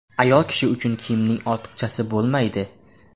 Ayol kishi uchun kiyimning ortiqchasi bo‘lmaydi.